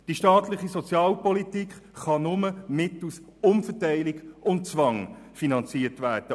Die staatliche Sozialpolitik kann nur mittels Umverteilung und Zwang finanziert werden.